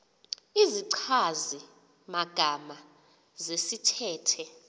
izichazi magama zesithethe